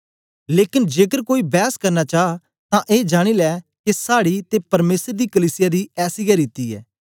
लेकन जेकर कोई बैस करना चा तां ए जानी लै के साड़ी ते परमेसर दी कलीसिया दी ऐसी गै रीति ऐ